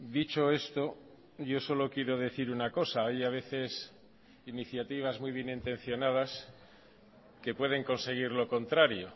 dicho esto yo solo quiero decir una cosa hay a veces iniciativas muy bien intencionadas que pueden conseguir lo contrario